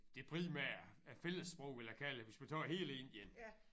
Det primære fællessprog ville jeg kalde det hvis man tager hele Indien